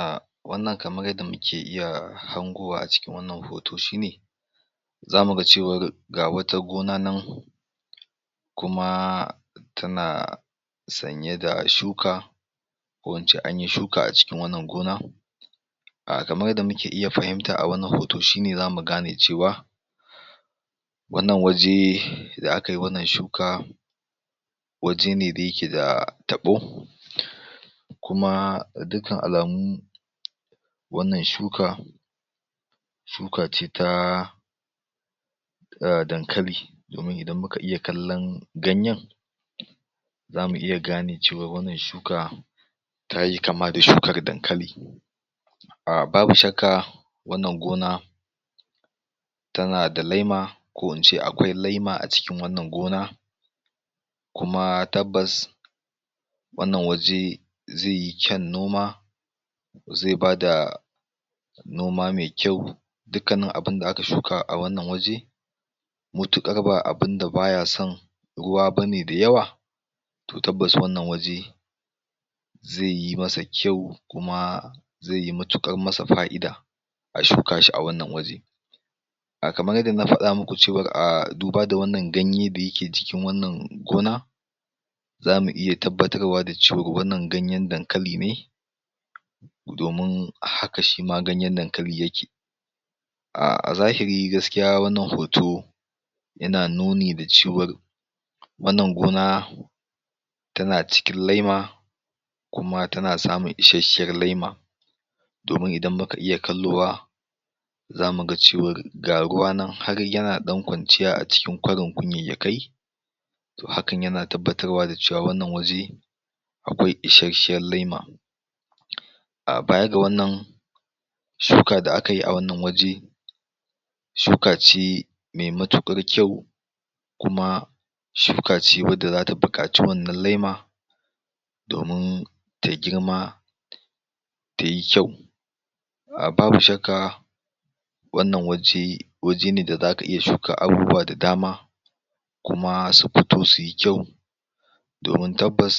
Ahh wannan kamar yadda muke iya hangowa a cikin wannan hoto shine, zamu ga cewar ga wata gona nan kuma tana sanye da shuka, ko in ce anyi shuka a cikin wannan gona ah kamar yadda muke iya fahimta a wannan hoto shine za mu iya ganewa wannan waje da akayi wannan shuka, waje ne da yake da taɓo, kuma ga dukan alamu wannan shuka shuka ce ta, ah dankali, domin idan muka iya kallan ganyen zamu iya gane cewar wannan shuka, tayi kama da shukar dankali, Ah babu shakka wannan gona, tana da laima ko in ce akwai laima a cikin wannan gona, kuma tabbas, wannan waje zai yi kyan noma, zai bada noma mai kyau, dukannin abunda aka shuka a wannan waje, mutaƙar ba abunda baya son ruwa bane da yawa, to tabbas wannan waje zai yi masa kyau kuma, zai yi mutuƙar masa fa'ida a shuka shi a wannan waje. A kamar yadda na fada muku cewar ah duba da wannan ganye wanda yake a wannangona zamu iya tabbatarwa da cewa wannan ganyen dankali ne, domin hka shima ganyen dankali yake, Ah, a zahiri gaskiya wannan hoto, yana nuni da cewar wannan gona, tana cikin laima, kuma tana samun isasshiyar laima, domin idan muka iya kallowa zamu ga cewar ga ruwa nan har yana ɗan kwanciya a cikin kwarin kunyayyayakai, to hakan yana tabbatarwa da cewa wannan waje akwai isasshiyar laima. Ah baya ga wannan shuka da akayi a wannan waje shuka ce me matuƙar kyau, kuma shuka ce wadda zata buƙaci wannan laima domin ta girma ta yi kyau. A babu shakka, wannan waje, waje ne da za ka iya shuka abubuwa da dama kuma su fito su yi kyau, domin tabbas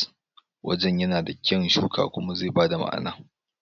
wajen yana da kyan shuka kuma zai ba da ma'ana.